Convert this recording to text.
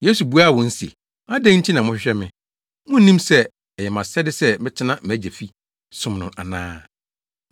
Yesu buaa wɔn se, “Adɛn nti na mohwehwɛ me? Munnim sɛ ɛyɛ mʼasɛde sɛ metena mʼagya fi som no ana?”